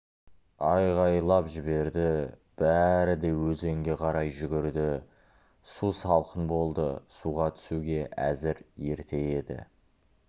айқайлап жіберді бәрі де өзенге қарай жүгірді су салқын болды суға түсуге әзір ерте еді